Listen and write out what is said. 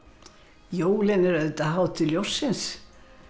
jólin eru auðvitað hátíð ljóssins